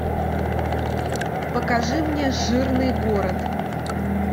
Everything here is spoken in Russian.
покажи мне жирный город